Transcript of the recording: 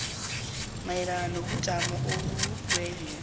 mayelana nobujamo bobulwelwe